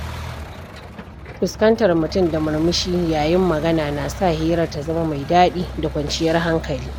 Fuskantar mutum da murmushi yayin magana na sa hirar ta zama mai daɗi da kwanciyar hankali.